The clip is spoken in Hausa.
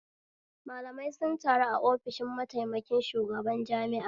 Malamai sun taru a ofishin mataikamin shugaban jami'a